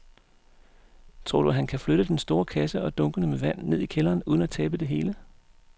Tror du, at han kan flytte den store kasse og dunkene med vand ned i kælderen uden at tabe det hele?